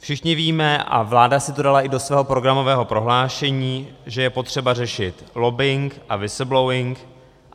Všichni víme, a vláda si to dala i do svého programového prohlášení, že je potřeba řešit lobbing a whistleblowing.